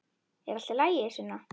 Er allt í lagi, Sunna?